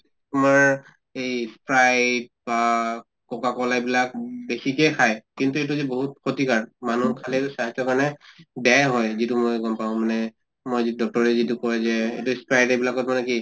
তোমাৰ এই sprite বা coca cola এইবিলাক বেছিকে খায়। কিন্তু এইটোযে বহুত ক্ষেতিকাৰ, মানুহ খালে স্বাস্থ্য ৰ কাৰণে বেয়া হয় যিটো মই গʼম পাওঁ মানে। মই যি doctor য়ে যিটো কয় যে sprite এইবিলাকত মানে কি